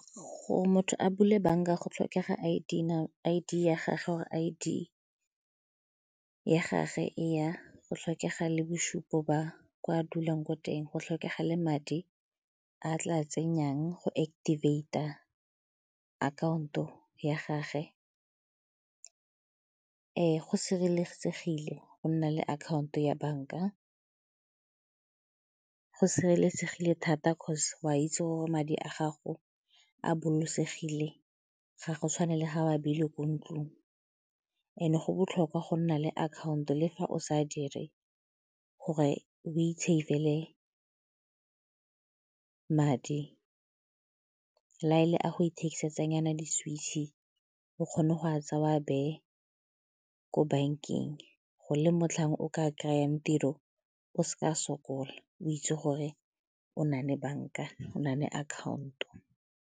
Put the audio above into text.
Gore motho a bule banka go tlhokega I_D ya gage go tlhokega le bosupo ba kwa a dulang ko teng, go tlhokega le madi a a tla tsenyang go activate-a akhaonto ya gage. Go sireletsegile go nna le akhaonto ya banka, go sireletsegile thata 'cause o a itse madi a gago a bolokosegile ga go tshwane le ga o a ebile ko ntlong and-e go botlhokwa go nna le akhaonto le fa o sa dire gore o i-save-ele madi, le ga e le a go ithekisetsanyana di-Switch-e o kgone go a tsaya o a beye ko bankeng gore le motlhang o ka kry-ang tiro o seka sokola o itse gore o na le banka, o na le akhaonto.